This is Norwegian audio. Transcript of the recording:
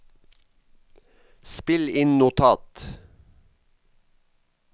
spill inn notat